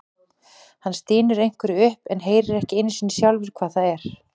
Hann stynur einhverju upp en heyrir ekki einu sinni sjálfur hvað það er.